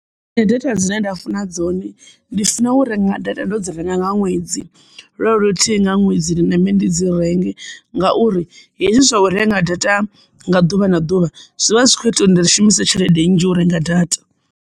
Nṋe data dzine nda funa dzone ndi funa u renga data ndo dzi renga nga ṅwedzi lo lo luthihi nga ṅwedzi nambe ndi dzi renge ngauri hezwi zwa u renga data nga ḓuvha na ḓuvha zwivha zwi kho ita uri ndi shumise tshelede nnzhi u renga data.